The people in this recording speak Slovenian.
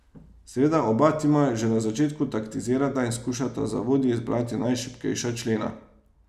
Seveda oba tima že na začetku taktizirata in skušata za vodji izbrati najšibkejša člena.